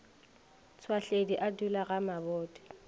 tšhwahledi a dula ga mabothe